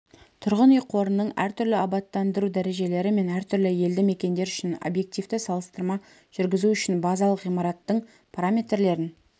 тұрғын үй қорының әртүрлі абаттандыру дәрежелері мен әртүрлі елді мекендер үшін объективті салыстырма жүргізу үшін базалық ғимараттың параметрлерін